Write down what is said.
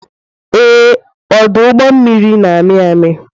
Ee, ọdụ ụgbọ mmiri na-amị amị.